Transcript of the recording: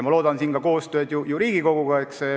Ma loodan siin ka koostööd Riigikoguga.